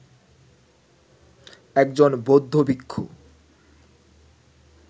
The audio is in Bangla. একজন বৌদ্ধ ভিক্ষু